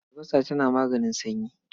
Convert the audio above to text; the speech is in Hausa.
Albasa tana maganin sanyi.